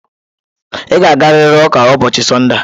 Ị ga-agarịrị ụka ụbọọchi Sọnde a.